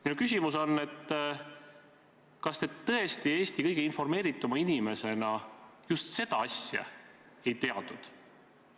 Minu küsimus on selline: kas te tõesti Eesti kõige informeerituma inimesena just seda asja ei teadnud?